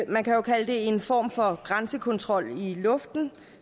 man kan jo kalde det en form for grænsekontrol i luften